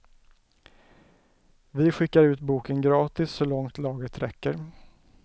Vi skickar ut boken gratis så långt lagret räcker.